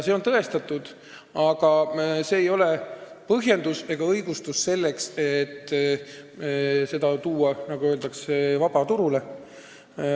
See on tõestatud, aga see ei ole põhjendus ega õigustus selleks, et seda tuua, nagu öeldakse, vabaturule.